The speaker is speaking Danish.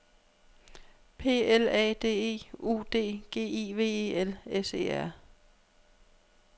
P L A D E U D G I V E L S E R